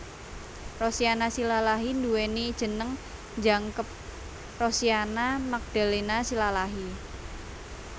Rosiana Silalahi nduwèni jeneng jangkep Rosiana Magdalena Silalahi